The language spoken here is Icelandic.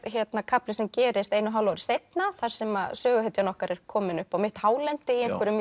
kafli sem gerist einu og hálfu ári seinna þar sem söguhetjan okkar er komin upp á mitt hálendi í einhverjum